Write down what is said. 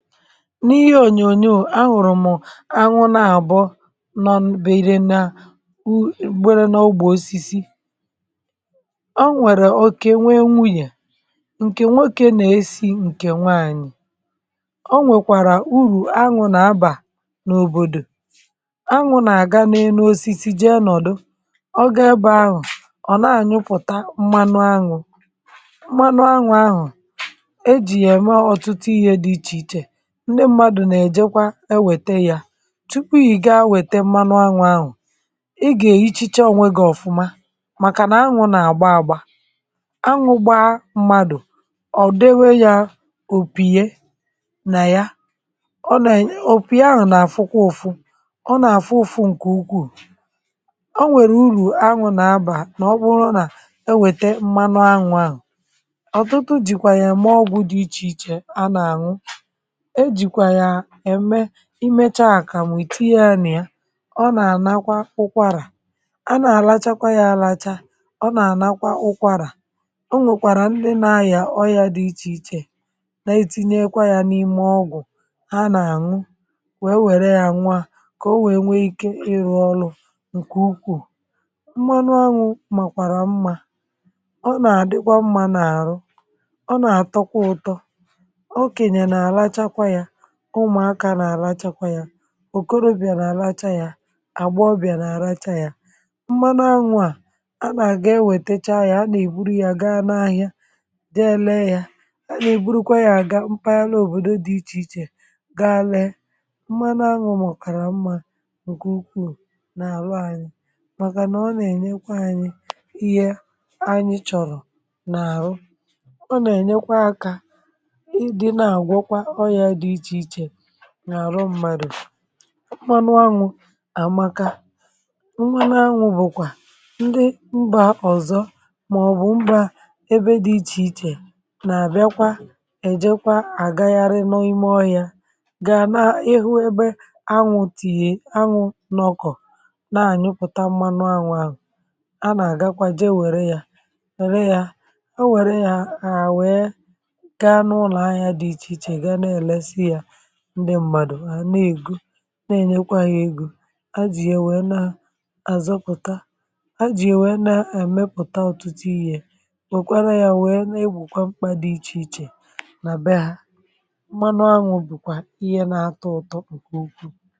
n’ihe ònyònyò àṅụrụ̀ m̀ aṅụ nà àbọ nọ̀ bère nà wu ègbere n’ógbù osisi a nwèrè okè nwe enwunyè ǹkè nwokė nà-esi ǹkè nwaànyị̀ o nwèkwàrà urù aṅụ̀ nà abà n’òbòdò aṅụ̀ nà àga n’enu osisi jee nọ̀dụ ọ gȧ ebe ahụ̀ ọ̀ na-anyụpụ̀ta mmanụ aṅụ̀ mmanụ aṅụ̀ a hụ̀ e jì yà ème ọ̀tụtụ ihe dị ichè ichè ndị mmadụ̀ na-èjekwa ewètè yà tupu yà ì ga-awète mmanụ anwụ̀ anwụ̀ ị gà èchiche onwė gị̀ ọ̀fụma màkà nà anwụ̇ nà-àgba agba anwụ̇ gbaa mmadù ọ̀ dewe yȧ òpìye nà ya ọ nà ènyi òpìye anwụ̀ nà àfụkwa ụ̀fụ ọ nà àfụ ụ̀fụ ǹkè ukwuù o nwèrè urù anwụ̀ nà abà nà ọ bụrụ nà ewète mmanụ anwụ̀ anwụ̀ ọ̀tụtụ jìkwà yà mụọgwụ̀ dị ichè ichè a nà ànwụ imechaàkà m̀ ètinye ȧnị̀ ya ọ nà-ànakwa ụkwàrà a nà-àlachakwa yȧ àlacha ọ nà-ànakwa ụkwàrà o nwèkwàrà ndị na-ayà ọ yȧ dị ichèichè na-etinyekwa yȧ n’ime ọgụ̀ ha nà-àṅụ wee wère yȧ nwụ à kà o wee nwe ike ịrụ̇ ọlụ̇ ǹkè ukwuu mmanụ anwụ̇ màkwàrà mmȧ ọ nà-àdịkwa mmȧ n’àrụ ọ nà-àtọkwa ụtọ̇ ụmụ̀akȧ nà-àlachakwa yȧ òkorobìà nà-àlacha yȧ àgba ọbìà nà-àlacha yȧ mmanụ anwụ̇ à a nà-àga enwètacha yȧ a nà-èburù ya gaa n’ahịa jee lee yȧ a nà-èburùkwa yȧ àga mpaghara òbòdo dị ichè ichè gaa lee mmanụ anwụ̇ mọ̀kàrà mmȧ ǹkè ukwuu n’àlụ anyị màkà nà ọ nà-ènyekwa anyị ihe anyị chọ̀rọ̀ n’àrụ ọ nà-ènyekwa akȧ n’àrụ m̀madụ̀ m̀mànụ anwụ̇ àmaka m̀mànụ anwụ̇ bụ̀kwà ndị mbà ọ̀zọ màọbụ̀ mbà ebe dị̇ ichè ichè nà-àbịakwa ejekwa àgaghari n’ime ọhịȧ gà n’ihu ebe anwụ̇ tìyè anwụ̇ n’ọkọ̀ nà-ànyụpụ̀ta m̀mànụ anwụ̇ anwụ̇ a nà-àgakwa jee wère yȧ wère yȧ o wère yȧ àwèe na-ènyekwa yȧ egȯ a jì yà nwère na àzọpụ̀ta a jì nwère na àmepụ̀ta ọ̀tụtụ ihe ye òkwala yȧ nwèe na-egwùkwa mkpȧ dị ichè ichè nà be yȧ manụ anwụ̇ bụ̀kwà ihe na-atọ ụtọ̇ ǹkè ukwuu